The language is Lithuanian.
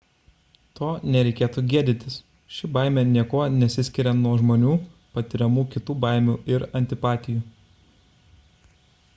to nereikėtų gėdytis ši baimė niekuo nesiskiria nuo žmonių patiriamų kitų baimių ir antipatijų